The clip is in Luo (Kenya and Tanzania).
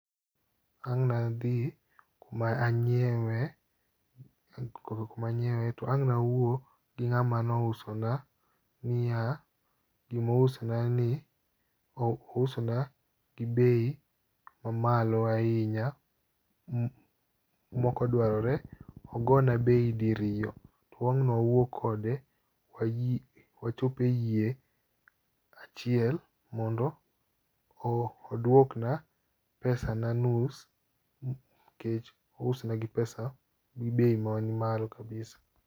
Ang'na dhi kuma anyiewe, kuma anyiewe to ang' nawuo gi ng'ama nousona niya gimousonani ousona gi bei ma malo ahinya mokodwarore. Ogona bei diriyo, to wang' nwawuo kode wachop e yie achiel mondo odwokna pesa na nus kech ousna gi pesa gi bei man malo kabisa.